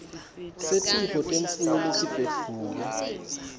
setifo temfuyo letibhedvuke